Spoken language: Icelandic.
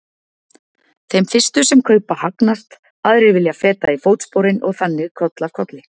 Þeir fyrstu sem kaupa hagnast, aðrir vilja feta í fótsporin og þannig koll af kolli.